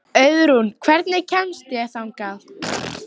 Auðrún, hvernig kemst ég þangað?